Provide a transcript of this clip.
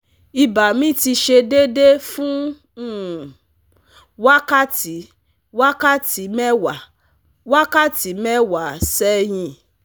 Iba mi ti se dede fun um wakati wakati mewa wakati mewa sehin